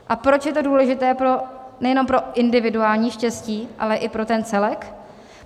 A proč je to důležité nejenom pro individuální štěstí, ale i pro ten celek?